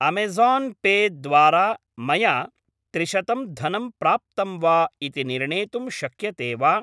Amazon pay द्वारा मया त्रिशतं धनं प्राप्तं वा इति निर्णेतुं शक्यते वा?